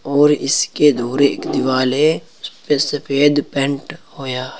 और इसके धुरे एक दीवाल है जे पे सफेद पेंट हो या--